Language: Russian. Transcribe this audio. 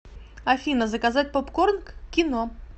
афина заказать попкорн к кино